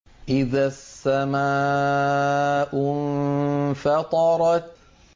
إِذَا السَّمَاءُ انفَطَرَتْ